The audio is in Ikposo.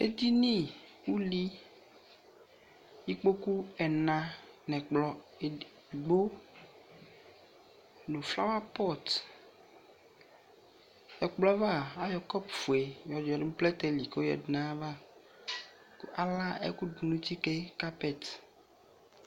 Edini uli, ikpoku ɛna nɛ kplɔ edigbo no flawapɔtƐkplɔ ava ayɔ kɔpu fue yɔ yia no pɔɛtɛ li ko yadu na ava ko ala ɛku do no tsi ke kapɛt